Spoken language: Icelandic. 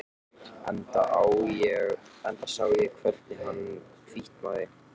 Enda sá ég hvernig hann hvítnaði.